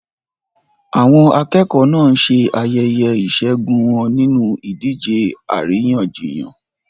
Àwọn akẹ́kọ̀ọ́ náà ń ṣe ayẹyẹ ìṣẹ́gun wọn nínú ìdíje àríyànjiyàn.